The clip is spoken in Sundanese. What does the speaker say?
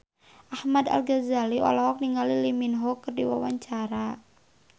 Ahmad Al-Ghazali olohok ningali Lee Min Ho keur diwawancara